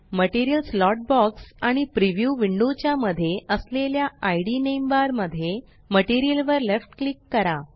material slot box आणि preview window च्या मध्ये असलेल्या इद नेम बार मध्ये मटीरियल वर लेफ्ट क्लिक करा